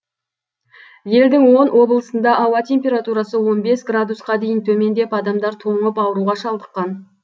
елдің он облысында ауа температурасы он бес градусқа дейін төмендеп адамдар тоңып ауруға шалдыққан